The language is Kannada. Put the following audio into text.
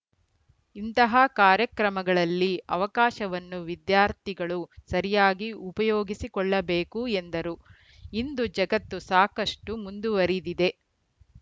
ಇಂತಹ ಕಾರ್ಯಕ್ರಮಗಳಲ್ಲಿ ಅವಕಾಶವನ್ನು ವಿದ್ಯಾರ್ಥಿಗಳು ಸರಿಯಾಗಿ ಉಪಯೋಗಿಸಿಕೊಳ್ಳಬೇಕು ಎಂದರು ಇಂದು ಜಗತ್ತು ಸಾಕಷ್ಟುಮುಂದುವರಿದಿದೆ